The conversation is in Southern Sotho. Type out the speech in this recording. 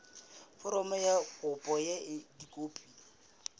foromo ya kopo ka dikopi